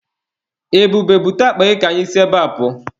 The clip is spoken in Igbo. Ebube, bute akpa gị ka anyị si ebea pụọ.